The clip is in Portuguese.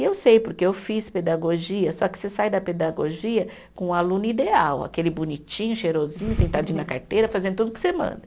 E eu sei, porque eu fiz pedagogia, só que você sai da pedagogia com o aluno ideal, aquele bonitinho, cheirosinho, sentadinho na carteira, fazendo tudo que você manda.